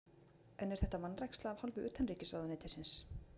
En er þetta vanræksla af hálfu utanríkisráðuneytisins?